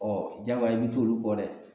jagoya i bi t'olu kɔ dɛ